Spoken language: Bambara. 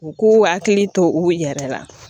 U k'u hakili to u yɛrɛ la